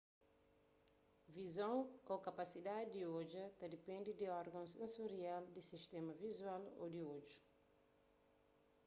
vizon ô kapasidadi di odja ta dipende di orgons sensorial di sistéma vizual ô di odju